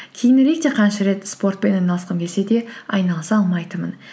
кейінірек те қанша рет спортпен айналысқым келсе де айналыса алмайтынмын